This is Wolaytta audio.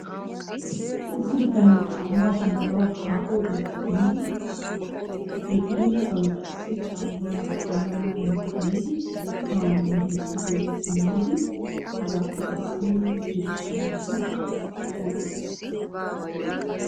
Issi bitanee caammaa shammanawu haaho biittaa biidi he biidosan qassi caammaa demmennan xayidi haa nu biitti guyye simmidi hegaappe qassi gujjidi shammidi soo geliis.